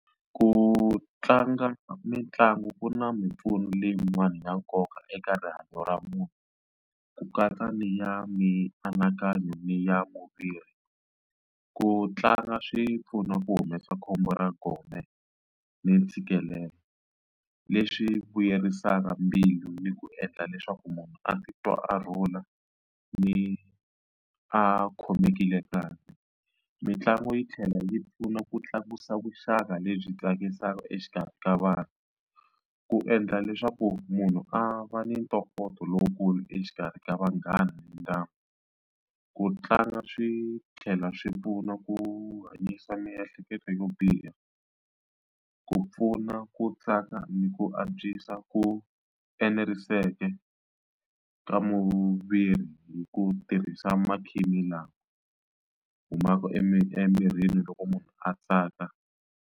Ku tlanga mitlangu ku na mimpfuno leyiwani ya nkoka eka rihanyo ra munhu ku katsa ni ya mianakanyo ni ya movha ri ku tlanga swi pfuna ku humesa khombo ra gome ni ntshikelelo leswi vuyerisaka mbilu ni ku endla leswaku munhu a titwa a rhula ni a khomekile kahle mitlangu yi tlhela yi pfuna ku tlakusa vuxaka lebyi tsakisaka exikarhi ka vanhu ku endla leswaku munhu a va ni ntokoto lowukulu exikarhi ka vanghana ndyangu ku tlanga swi tlhela swi pfuna ku hanyisa miehleketo yo biha ku pfuna ku tsaka ni ku antswisa ku eneriseke ka mushavisi hi ku tirhisa makhisimisi lama humaka emirini loko munhu a tsaka.